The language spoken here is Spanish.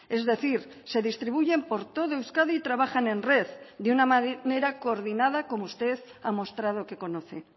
es decir se distribuyen por todo euskadi y trabajan en red de una manera coordinada como usted ha mostrado que conoce